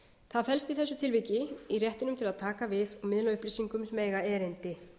það felst í þessu tilviki í réttinum til að taka við og miðla upplýsingum sem eiga erindi